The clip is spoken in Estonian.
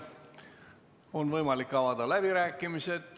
On võimalik avada läbirääkimised.